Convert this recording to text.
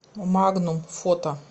магнум фото